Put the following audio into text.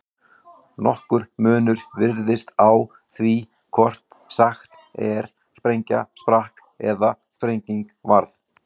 Nokkur munur virðist á því hvort sagt er sprengja sprakk eða sprenging varð.